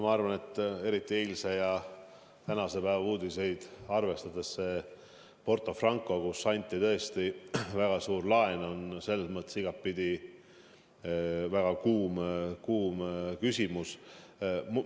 Ma arvan, et eriti eilse ja tänase päeva uudiseid arvestades on Porto Franco, kellele anti tõesti väga suur laen, igatpidi väga kuum küsimus.